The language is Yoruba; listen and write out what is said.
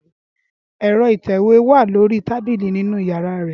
Ẹ́rọ ìtẹ̀wé wa lori tabili ninu yara rẹ.